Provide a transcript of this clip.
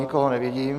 Nikoho nevidím.